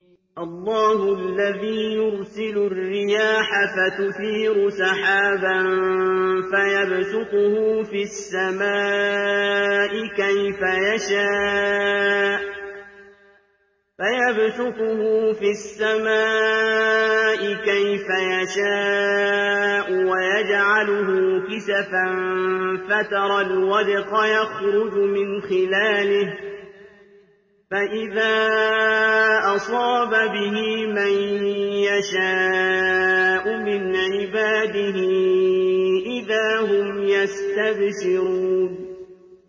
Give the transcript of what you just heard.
اللَّهُ الَّذِي يُرْسِلُ الرِّيَاحَ فَتُثِيرُ سَحَابًا فَيَبْسُطُهُ فِي السَّمَاءِ كَيْفَ يَشَاءُ وَيَجْعَلُهُ كِسَفًا فَتَرَى الْوَدْقَ يَخْرُجُ مِنْ خِلَالِهِ ۖ فَإِذَا أَصَابَ بِهِ مَن يَشَاءُ مِنْ عِبَادِهِ إِذَا هُمْ يَسْتَبْشِرُونَ